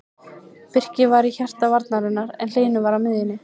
Birkir var í hjarta varnarinnar en Hlynur var á miðjunni.